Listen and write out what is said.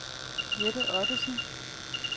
Jette Ottesen